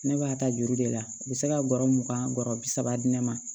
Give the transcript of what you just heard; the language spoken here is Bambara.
Ne b'a ta juru de la u bɛ se ka gɔrɔ mugan gɔrɔ bi saba di ne ma